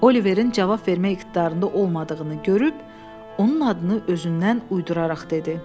Oliverin cavab vermək iqtidarında olmadığını görüb, onun adını özündən uyduraraq dedi.